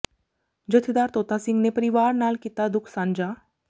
ਜਥੇਦਾਰ ਤੋਤਾ ਸਿੰਘ ਨੇ ਪਰਿਵਾਰ ਨਾਲ ਕੀਤਾ ਦੁੱਖ ਸਾਂਝਾ